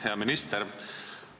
Hea minister!